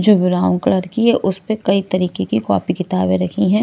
जो brown colour की है उस पर कई तरीके की कॉपी किताबें रखी हैं।